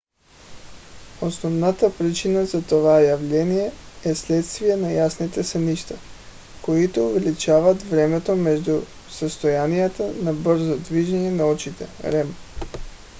основната причина за това явление е следствие на ясните сънища които увеличават времето между състоянията на бързо движение на очите rem